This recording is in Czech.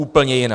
Úplně jiná.